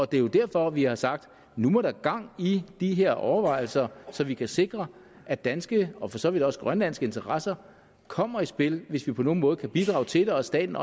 det er jo derfor vi har sagt nu må der gang i de her overvejelser så vi kan sikre at danske og for så vidt også grønlandske interesser kommer i spil hvis vi på nogen måde kan bidrage til det og staten